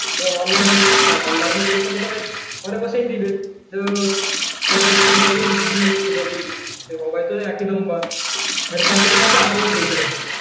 তো online পরীক্ষা হয় নি ঘরে বসে দিবে সবাই তো একই নম্বর দিয়ে পড়াশোনাটা মনোভাব হারিয়ে গেছে